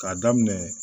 K'a daminɛ